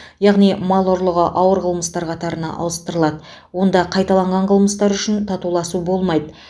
яғни мал ұрлығы ауыр қылмыстар қатарына ауыстырылады онда қайталанған қылмыстар үшін татуласу болмайды